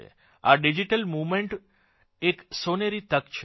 આ digital movement એક સોનેરી તક છે